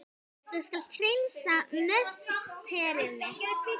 Þú skalt hreinsa musteri mitt!